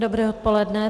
Dobré odpoledne.